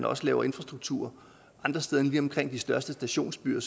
også laves infrastruktur andre steder end lige omkring de største stationsbyer